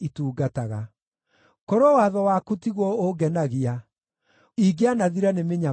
Korwo watho waku tiguo ũngenagia, ingĩanathira nĩ mĩnyamaro yakwa.